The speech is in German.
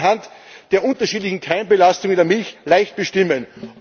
Das lässt sich anhand der unterschiedlichen Keimbelastung in der Milch leicht bestimmen.